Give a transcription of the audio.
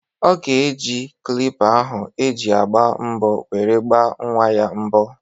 Ọ ga-eji klippa ahụ eji agba mbọ were gbaa nnwa ya mbọ.